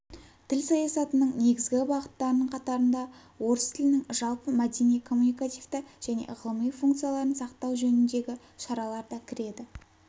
тіл саясатының негізгі бағыттарының қатарында орыс тілінің жалпы мәдени коммуникативті және ғылыми функцияларын сақтау жөніндегі шаралар да кіреді